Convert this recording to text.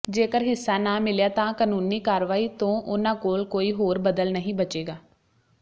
ਜੇਕਰ ਹਿੱਸਾ ਨਾ ਮਿਲਿਆ ਤਾਂ ਕਾਨੂੰਨੀ ਕਾਰਵਾਈ ਤੋਂ ਉਨ੍ਹਾਂ ਕੋਲ ਕੋਈ ਹੋਰ ਬਦਲ ਨਹੀਂ ਬਚੇਗਾ